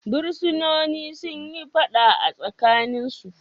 Fursunonin sun yi fada a tsakaninsu.